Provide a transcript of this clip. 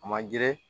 A man girin